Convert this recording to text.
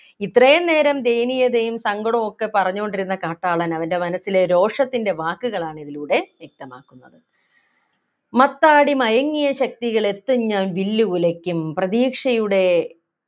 ഇത്രയും നേരം ദയനീയതയും സങ്കടവുമൊക്കെ പറഞ്ഞുകൊണ്ടിരുന്ന കാട്ടാളൻ അവൻ്റെ മനസ്സിലെ രോഷത്തിൻ്റെ വാക്കുകളാണ് ഇതിലൂടെ വ്യക്തമാക്കുന്നത് മത്താടി മയങ്ങിയ ശക്തികൾ എത്തും ഞാൻ വില്ലുകുലയ്ക്കും പ്രതീക്ഷയുടെ